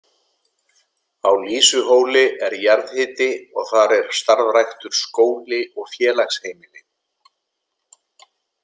Á Lýsuhóli er jarðhiti og þar er starfræktur skóli og félagsheimili.